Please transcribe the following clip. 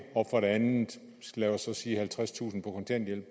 og for det andet lad os så sige halvtredstusind på kontanthjælp